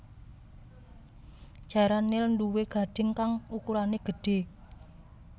Jaran nil nduwé gadhing kang ukurané gedhé